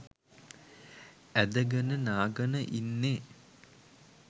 ඇද ගන නා ගන ඉන්නේ